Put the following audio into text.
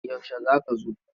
Yaushe za ka zo?